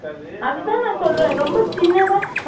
அந்த ஒரு floor னா குட்டிஅ தான் இருக்குமா அது